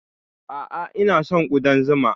A'a, ina son ƙudan zuma.